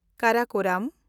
Karakoram